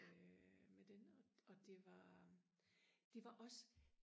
øh med den og det var det var også